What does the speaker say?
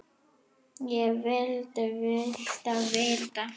Hvað vilduð þið vita?